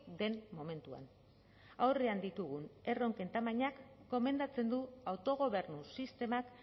den momentuan aurrean ditugun erronken tamainak gomendatzen du autogobernu sistemak